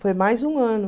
Foi mais um ano.